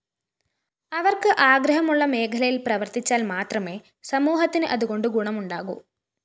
അവര്‍ക്ക് ആഗ്രഹമുള്ള മേഖലയില്‍ പ്രവര്‍ത്തിച്ചാല്‍ മാത്രമേ സമൂഹത്തിന് അതുകൊണ്ട് ഗുണമുണ്ടാകൂ